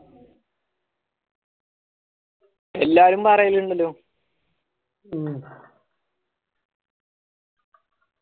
എല്ലാരും റയാനിണ്ടല്ലോ